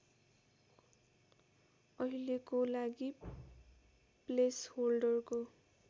अहिलेको लागि प्लेसहोल्डरको